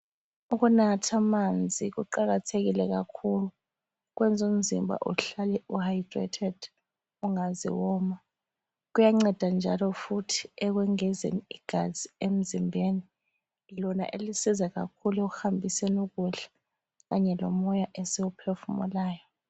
Ukunathamanzi kuqakathikile kakhulu. Kwenza umzimba uhlale u hydrated, ungaze woma. Kuyanceda njalo futhi ekwengezeni igazi emzimbeni lona elisiza kakhulu ekuhambiseni ukudla Kanye lomoya esiwuphefumulayo.